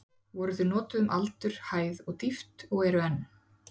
Voru þau notuð um aldur, hæð og dýpt og eru enn.